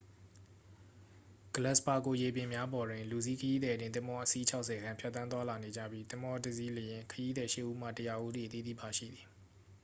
ဂလပ်စ်ပါဂိုရေပြင်များပေါ်တွင် လူစီးခရီးသည်တင် သင်္ဘော အစီး 60 ကျော်ခန့် ဖြတ်သန်းသွားလာနေကြပြီး သင်္ဘောတစ်စီးလျှင် ခရီးသည် 8 ဦးမှ 100 ဦးအထိ အသီးသီး ပါရှိသည်